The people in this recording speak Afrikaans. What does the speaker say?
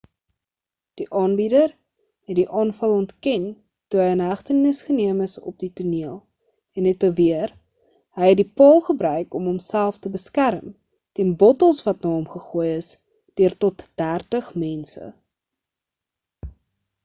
die aanbieder het die aanval ontken toe hy in hegtenis geneem is op die toneel en het beweer hy het die paal gebruik om hom self te beskerm teen bottels wat na hom gegooi is deur tot dertig mense